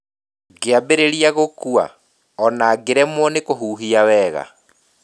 Ngĩambĩrĩria gũkua, o na ngĩremwo nĩ kũhuhia wega.